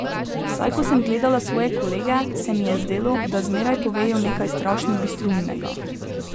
Vsaj ko sem gledala svoje kolege, se mi je zdelo, da zmeraj povejo nekaj strašno bistroumnega.